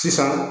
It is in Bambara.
Sisan